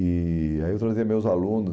E e aí eu trazia meus aluno